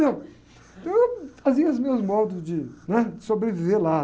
Entendeu? Eu fazia os meus modos de, né? De sobreviver lá.